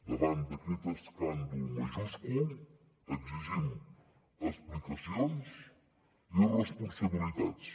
davant d’aquest escàndol majúscul exigim explicacions i responsabilitats